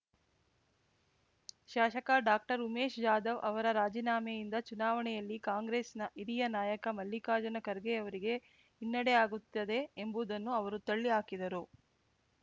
ಶಾಸಕ ಡಾಕ್ಟರ್ ಉಮೇಶ್ ಜಾಧವ್ ಅವರ ರಾಜೀನಾಮೆಯಿಂದ ಚುನಾವಣೆಯಲ್ಲಿ ಕಾಂಗ್ರೆಸ್‌ನ ಹಿರಿಯ ನಾಯಕ ಮಲ್ಲಿಕಾರ್ಜುನ ಖರ್ಗೆಯವರಿಗೆ ಹಿನ್ನಡೆ ಆಗುತ್ತದೆ ಎಂಬುದನ್ನು ಅವರು ತಳ್ಳಿ ಹಾಕಿದರು